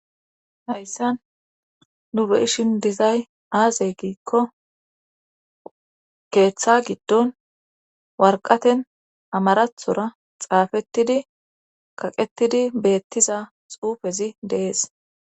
Hayssan nu beishin dizay aazey giikko keeththa giddon warqaten amarathora xaafettidi kaqetidi beettiza xuufezi deees